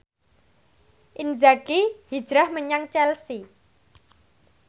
Inzaghi hijrah menyang Chelsea